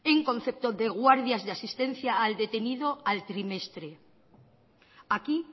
en concepto de guardias de asistencia al detenido al trimestre aquí